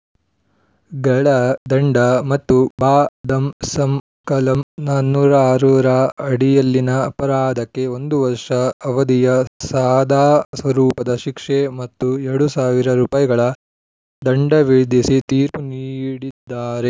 ಗಳ ದಂಡ ಮತ್ತು ಭಾದಂಸಂ ಕಲಂ ನಾಲ್ಕುನೂರ ಆರ ರ ಅಡಿಯಲ್ಲಿನ ಅಪರಾಧಕ್ಕೆ ಒಂದು ವರ್ಷ ಅವಧಿಯ ಸಾದಾ ಸ್ವರೂಪದ ಶಿಕ್ಷೆ ಮತ್ತು ಎರಡು ಸಾವಿರ ರುಪಾಯಿ ಗಳ ದಂಡವಿಧಿಸಿ ತೀರ್ಪು ನೀಡಿದ್ದಾರೆ